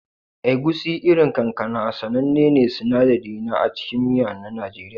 Egusi, irin kankana, sanannen sinadari ne a cikin miya na Najeriya.